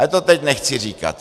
Ale to teď nechci říkat.